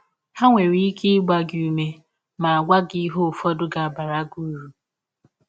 Ha nwere ike ịgba gị ụme ma gwa gị ihe ụfọdụ ga - abara gị ụrụ.